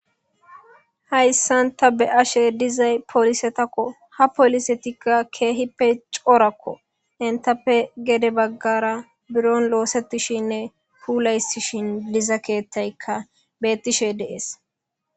hayssanta be ashe dizay polisetakko ha polisetikka keehippe coorakko entappe gede baggara biron loosetishinne puulaysishin liza keettaykka bettishe deees